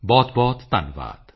ਬਹੁਤਬਹੁਤ ਧੰਨਵਾਦ